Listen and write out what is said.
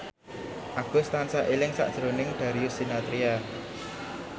Agus tansah eling sakjroning Darius Sinathrya